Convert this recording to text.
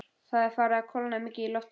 Það er farið að kólna mikið í lofti.